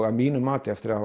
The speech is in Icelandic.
að mínu mati eftir að